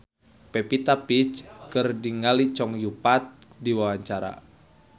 Pevita Pearce olohok ningali Chow Yun Fat keur diwawancara